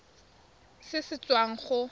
irp se se tswang go